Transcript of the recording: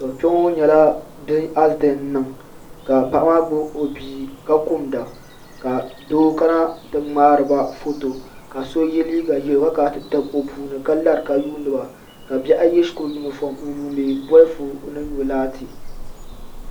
Kpɛ ŋo nyɛla asidɛnt n niŋ ka paɣa maa gbubi o bia ka kumda ka doo kana ti ŋmaariba foto ka so yɛ liiga ʒiɛ ka kana ti tabi o puuni ka lari ka yuundiba ka bihi ayi yɛ shikuru yunifom n yuundi bolifu ni nyo laati